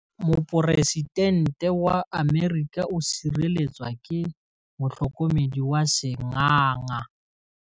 Poresitêntê wa Amerika o sireletswa ke motlhokomedi wa sengaga.